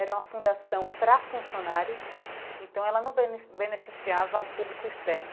Era uma fundação para funcionários, então ela não bene beneficiava o público externo.